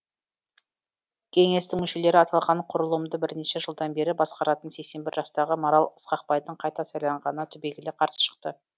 кеңестің мүшелері аталған құрылымды бірнеше жылдан бері басқаратын сексен бір жастағы марал ысқақбайдың қайта сайланғанына түбегейлі қарсы шықты